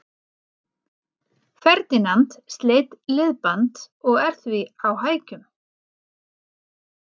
Ferdinand sleit liðband og er því á hækjum.